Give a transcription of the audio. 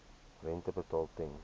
rente betaal ten